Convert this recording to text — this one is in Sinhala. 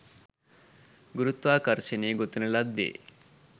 ගුරුත්වාකර්ශනය ගොතන ලද්දෙ